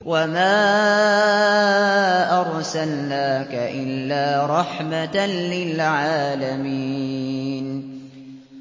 وَمَا أَرْسَلْنَاكَ إِلَّا رَحْمَةً لِّلْعَالَمِينَ